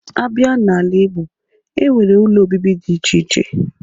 Abịa n'ala Igbo, e nwere ụlọ obibi dị iche iche.